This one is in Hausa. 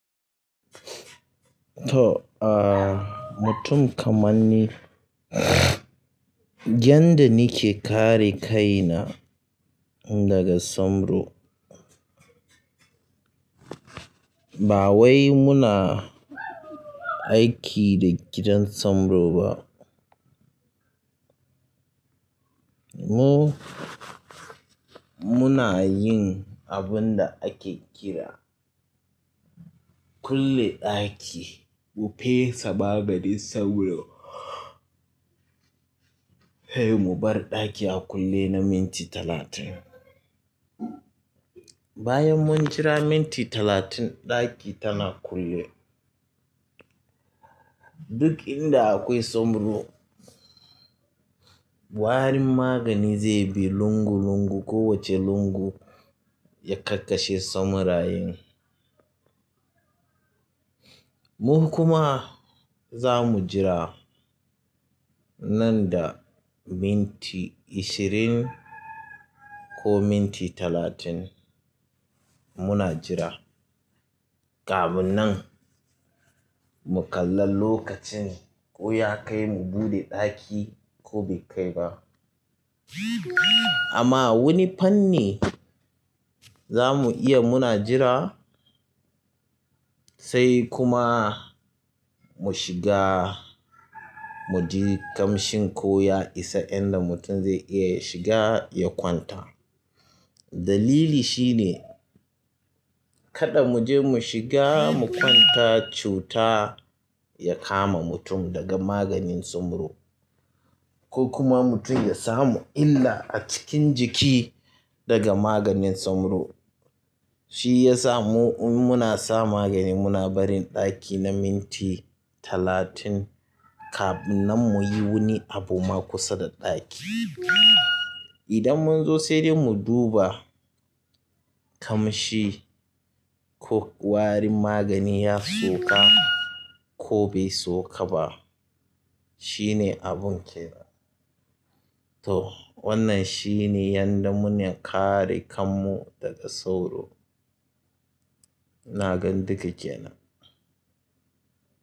To, ah mutum kamar ni, yanda nake kare kaina daga soro, ba wai muna aiki da gidan soro ba. Mu, muna yin abun da ake kira kulle ɗaki. Mu fesa maganin sauro, sai mu bar ɗaki a kulle na minti talatin. Bayan mun jira minti talatin, ɗaki tana kulle. Duk inda akwai sauro, warin magani zai bi lungu lungu, kowace lungu ya kakkashe saurayen. Mu kuma za mu jira nan da minti ashirin ko minti talatin muna jira, kafin nan mu kalla lokacin ko ya kai mu buɗe ɗaki ko bai kai ba. Amma wani fanni za mu iya muna jira sai kuma mu shiga, mu ji ƙamshin ko ya isa inda mutum zai iya ya shiga ya kwanta. Dalili shi ne kada mu je mu shiga mu kwanta, cuta ya kama mutum daga maganin sauro ko kuma mutum ya samu illa a cikin jiki daga maganin sauro. Shi ya sa mu, muna sa magani muna barin ɗaki na minti talatin kafin nan mu yi wani abu ma kusa da ɗaki. Idan mun zo sai dai mu duba ƙamshi ko warin magani ya sauka ko bai sauka ba, shine abun kenan. To wannan shine yanda muna kare kanmu daga sauro ina gan duka kenan.